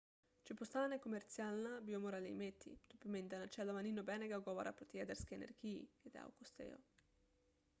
če postane komercialna bi jo morali imeti to pomeni da načeloma ni nobenega ugovora proti jedrski energiji je dejal costello